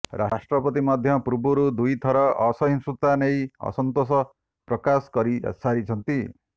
ରାଷ୍ଟ୍ରପତି ମଧ୍ୟ ପୂର୍ବରୁ ଦୁଇ ଥର ଅସହିଷ୍ଣୁତା ନେଇ ଅସନ୍ତୋଷ ପ୍ରକାଶ କରି ସାରିଛନ୍ତି